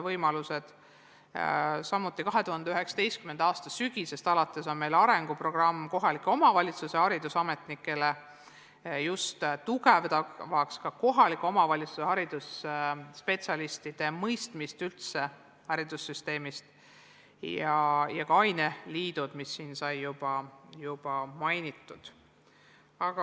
Samuti on meil 2019. aasta sügisest alates arenguprogramm kohalike omavalitsuste haridusametnikele, tugevdamaks kohaliku omavalitsuse haridusspetsialistide mõistmist üldse haridussüsteemist, ning ka aineliidud, mida juba sai mainitud.